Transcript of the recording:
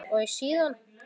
Og síðan?